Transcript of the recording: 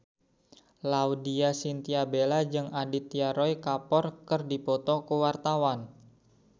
Laudya Chintya Bella jeung Aditya Roy Kapoor keur dipoto ku wartawan